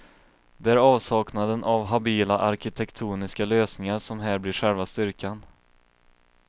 Det är avsaknaden av habila arkitektoniska lösningar som här blir själva styrkan.